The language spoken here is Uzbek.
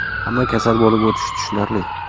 Hamma kasal bo‘lib o‘tishi tushunarli.